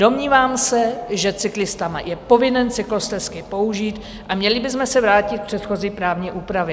Domnívám se, že cyklista je povinen cyklostezky použít, a měli bychom se vrátit k předchozí právní úpravě.